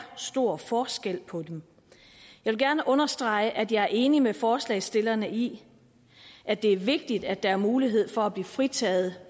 stor forskel på dem jeg gerne understrege at jeg er enig med forslagsstillerne i at det er vigtigt at der er mulighed for at blive fritaget